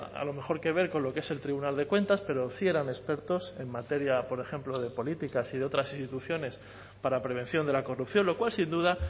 a lo mejor que ver con lo que es el tribunal de cuentas pero sí eran expertos en materia por ejemplo de políticas y de otras instituciones para prevención de la corrupción lo cual sin duda